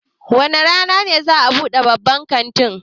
Wane rana za'a buɗe babban kantin?